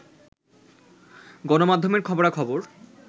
গণমাধ্যমের খবরা-খবর